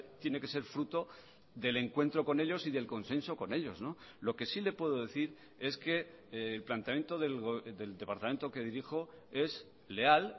tiene que ser fruto del encuentro con ellos y del consenso con ellos lo que sí le puedo decir es que el planteamiento del departamento que dirijo es leal